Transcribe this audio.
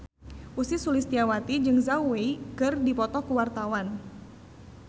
Ussy Sulistyawati jeung Zhao Wei keur dipoto ku wartawan